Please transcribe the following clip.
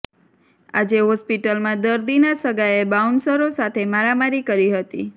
આજે હોસ્પિટલમાં દર્દીના સગાએ બાઉન્સરો સાથે મારામારી કરી હતી